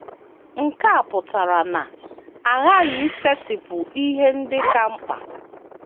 Nke a pụtara na a ghaghị isetịpụ ihe ndị ka mkpa.